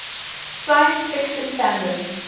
science fiction fandom